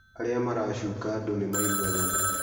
Arĩa maracuka andũ nĩ maigua thoni.